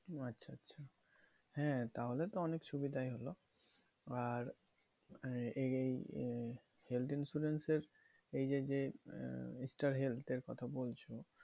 আচ্ছা আচ্ছা। হ্যাঁ তাহলে তো অনেক সুবিধাই হলো। আর এই আহ health insurance এর এই যে যে, ষ্টার হেল্থ এর কথা বলছো,